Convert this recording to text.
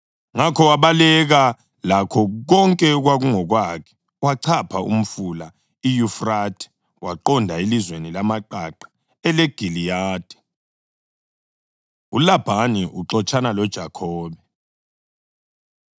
Ngakho wabaleka lakho konke okwakungokwakhe, wachapha umfula iYufrathe, waqonda elizweni lamaqaqa eleGiliyadi. ULabhani Uxotshana LoJakhobe